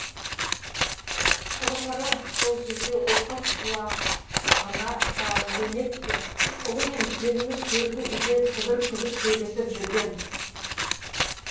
құрғыры сол кезде оқыс құлағына шалынды емес пе ұлы мен келіні төргі үйде сыбыр күбір сөйлесіп жүрген